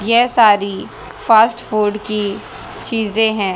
ये सारी fast food की चीजे हैं।